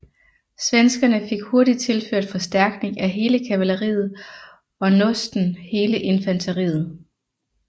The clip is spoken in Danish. Svenskerne fik hurtigt tilført forstærkning af hele kavalleriet og nåsten hele infanteriet